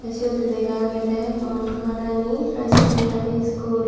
siyot lega agayday maharani high sagandari school.